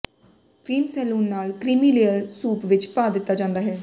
cream ਸੈਲੂਨ ਨਾਲ creamy layer soup ਵਿੱਚ ਪਾ ਦਿੱਤਾ ਜਾਂਦਾ ਹੈ